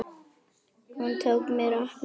Hún tók mér opnum örmum.